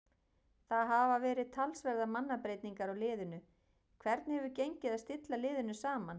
Það hafa verið talsverðar mannabreytingar á liðinu, hvernig hefur gengið að stilla liðið saman?